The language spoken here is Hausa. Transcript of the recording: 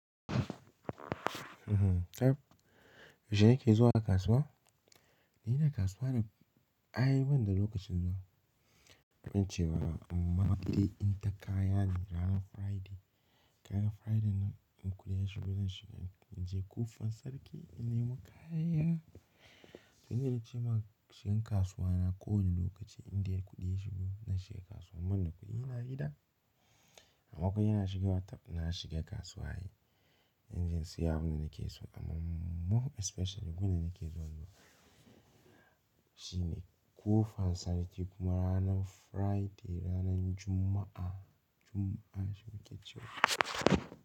Yaushe yake zuwa kasuwa? Ni da kasuwa da ay ban da lokacin zuwa, amincewa amma dai inta kaya ne ranar Friday. Kayan Friday nan, in kuɗi ya shigo zan shiga in je Kofan Sarki in nemi kayana. Wai na yi ce ma shigan kasuwa na kowane lokaci inda ya kuɗi ya shigo na shiga kasuwa ban da kuɗi ina hira. Amma kawai ina shiga watar na shiga kasuwa yi, inje in siya abunda nake so amma more especially gun danake zuwa shi ne Kofan Sarki kuma ranar Friday, ranar Juma'a, Juma'a suke ce wa.